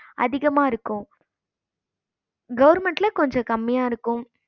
அதிகமா இருக்கும் government கொஞ்சம் கம்மியா இருக்கும்